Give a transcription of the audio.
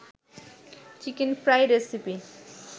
chicken fry recipe